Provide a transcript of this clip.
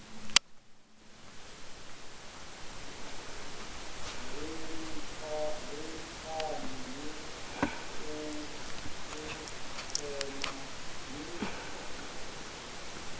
ri litshani u ntsema ni